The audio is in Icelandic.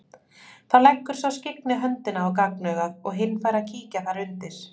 Þá leggur sá skyggni höndina að gagnauganu og hinn fær að kíkja þar undir.